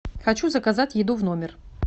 хочу заказать еду в номер